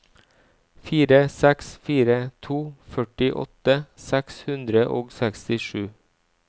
fire seks fire to førtiåtte seks hundre og sekstisju